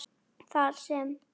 þar sem